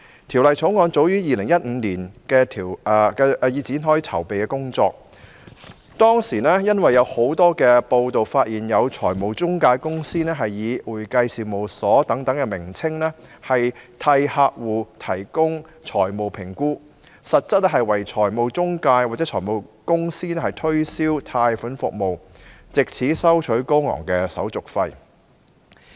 《條例草案》早於2015年已展開籌備工作，當時有多篇報道，指有財務中介公司以"會計事務所"為名，替客戶提供財務評估，實質為財務中介或財務公司推銷貸款服務，藉此收取高昂的手續費。